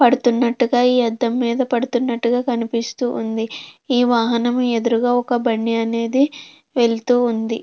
పడుతున్నట్టుగా ఈ అద్దం మీద పడుతున్నట్టుగా కనిపిస్తుంది. ఈ వాహనం ఎదురుగా ఒక బండి అనేది వెళ్తూ ఉంది.